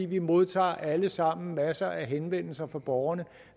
vi modtager alle sammen masser af henvendelser fra borgerne